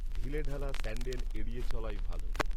ঢিলেঢালা sandal এড়িয়ে চলাই ভালো